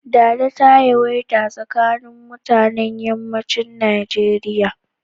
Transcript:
Dada ta yawaita a tsakanin mutanen Yammacin Nijeriya.